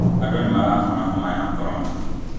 Andũ nĩmarahona homa ya korona